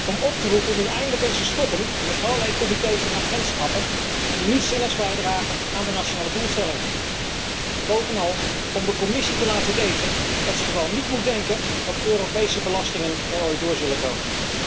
Om op te roepen nu eindelijk eens te stoppen met allerlei comités en agentschappen die niets zinnigs bijdragen aan de nationale doelstellingen. En bovenal, om de Commissie te laten weten dat zij vooral niet moet denken dat Europese belastingen er ooit door zullen komen.